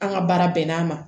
An ka baara bɛnn'a ma